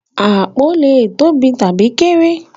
Apó lè tóbi tabi kéré.